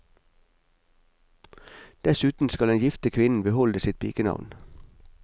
Dessuten skal den gifte kvinnen beholde sitt pikenavn.